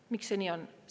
Miks see nii on?